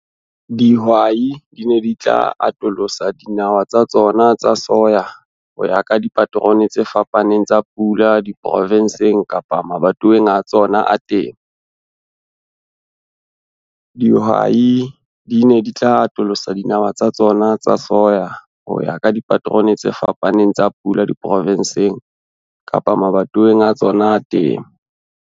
Dihwai di ne di tla atolosa dinawa tsa tsona tsa soya ho ya ka dipaterone tse fapaneng tsa pula diprovenseng kapa mabatoweng a tsona a temo.